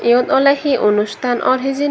iyot awle hi onustan or hijeni.